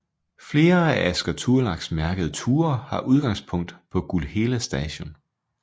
Flere af Asker Turlags mærkede ture har udgangspunkt på Gullhella Station